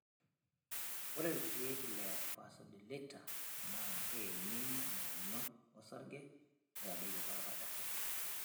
Ore ilkeek le Vasodilators naa keyeng'iyeng'ie ng'onyo osarge neitadoyio enkuatata osarge.